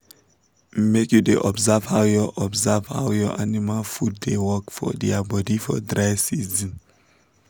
make you da observe how your observe how your animal food da work for dia body for dry season